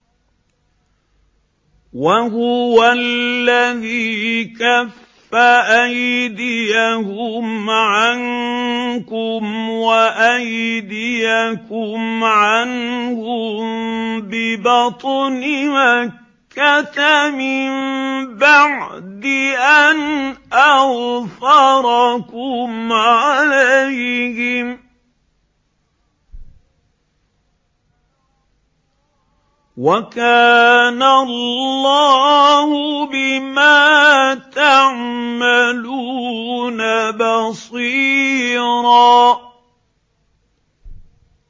وَهُوَ الَّذِي كَفَّ أَيْدِيَهُمْ عَنكُمْ وَأَيْدِيَكُمْ عَنْهُم بِبَطْنِ مَكَّةَ مِن بَعْدِ أَنْ أَظْفَرَكُمْ عَلَيْهِمْ ۚ وَكَانَ اللَّهُ بِمَا تَعْمَلُونَ بَصِيرًا